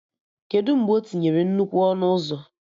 Kedụ mgbe o tinyere nnukwu ọnụ ụzọ?